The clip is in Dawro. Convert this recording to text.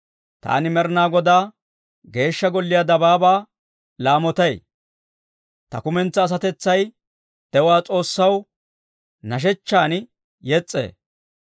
Taani Med'inaa Godaa Geeshsha Golliyaa Dabaabaa laamotay; ta kumentsaa asatetsay de'uwaa S'oossaw nashshechchan yes's'ee.